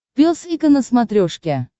пес и ко на смотрешке